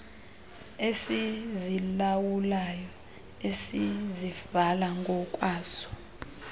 esizilawulayo esizivala ngokwaso